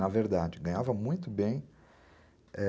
Na verdade, ganhava muito bem,é...